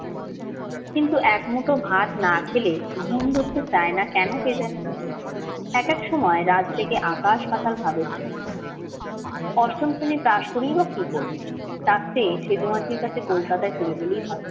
কিন্তু এক মুঠো ভাত না খেলে ঘুম ধরতে চায় না কেন কে জানে। একেক সময় রাত জেগে আকাশ পাতাল ভাবে সে। অষ্টম শ্রেণী পাশ করেই বা কি করবে? তার চেয়ে সেজো মাসির কাছে কলকাতায় চলে গেলেই হয়।